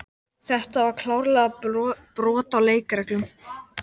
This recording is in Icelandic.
Þetta var klárlega brot á leikreglunum.